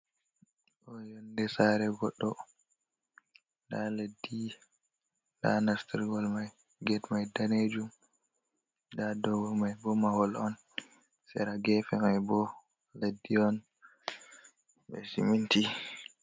Ɗo yonde sare goɗɗo nda leddi nda nastirgol mai ged mai danejum, nda dow mai bo mahol on sera gefe mai bo leddi on be siminti.